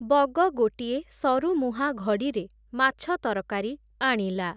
ବଗ ଗୋଟିଏ ସରୁମୁହାଁ ଘଡ଼ିରେ ମାଛ ତରକାରି ଆଣିଲା ।